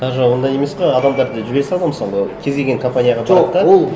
даже ондай емес қой адамдарды жібере салады ғой мысалы кез келген компанияға барады да